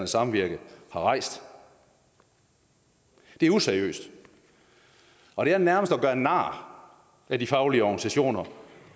samvirke har rejst det er useriøst og det er nærmest at gøre nar af de faglige organisationer